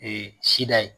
sida ye